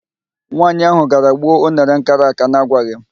Nwaanyị ahụ gara gbuo unere m kara àká na agwaghị m.